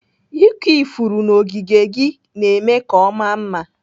Ịkụ ifuru n'ogige gị na-eme ka ọ maa mma.